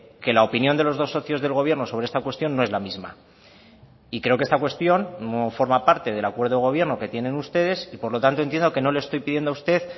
que la opinión de los dos socios del gobierno sobre esta cuestión no es la misma y creo que esta cuestión no forma parte del acuerdo de gobierno que tienen ustedes y por lo tanto entiendo que no le estoy pidiendo a usted